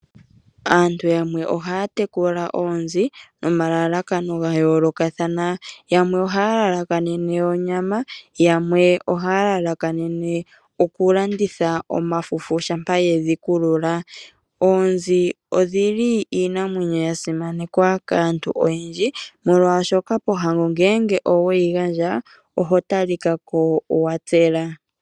Aantu yamwe ohaya tekula oonzi nomalalakano ga yoolokathana. Yamwe ohaya lalakanene onyama, yamwe ohaya lalakanene okulanditha omafufu shampa yedhi kulula. Oonzi odhi li iinamwenyo ya simanekwa kaantu oyendji molwashoka pohango ngeenge oweyi gandja, oho talika ko wa tsela.